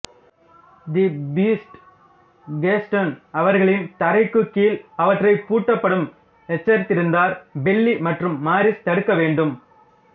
தி beast Gaston அவர்களின் தரைக்குக்கீழ் அவற்றை பூட்டப்படும் எச்சரித்திருந்தார் பெல்லி மற்றும் மாரிஸ் தடுக்க வேண்டும்